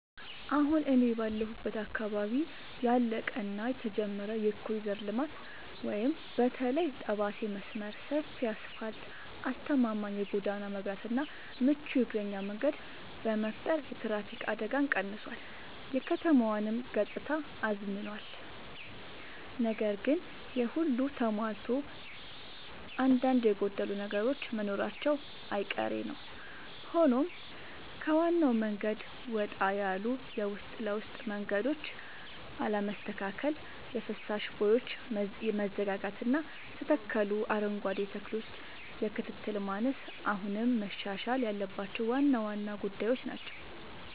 አሁን እኔ ባለሁበት አካባቢ ያለቀ እና የተጀመረ የኮሪደር ልማት (በተለይ የጠባሴ መስመር) ሰፊ አስፋልት: አስተማማኝ የጎዳና መብራትና ምቹ የእግረኛ መንገድ በመፍጠር የትራፊክ አደጋን ቀንሷል: የከተማዋንም ገጽታ አዝምኗል። ነገር ግን ይሄ ሁሉ ተሟልቶ አንዳንድ የጎደሉ ነገሮች መኖራቸው አይቀሬ ነዉ ሆኖም ከዋናው መንገድ ወጣ ያሉ የውስጥ ለውስጥ መንገዶች አለመስተካከል: የፍሳሽ ቦዮች መዘጋጋትና የተተከሉ አረንጓዴ ተክሎች የክትትል ማነስ አሁንም መሻሻል ያለባቸው ዋና ዋና ጉዳዮች ናቸው።